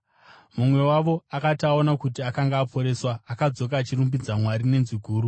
Mumwe wavo akati aona kuti akanga aporeswa, akadzoka achirumbidza Mwari nenzwi guru.